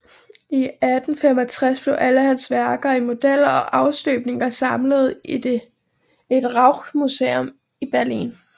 I 1865 blev alle hans værker i modeller og afstøbninger samlede i et Rauchmuseum i Berlin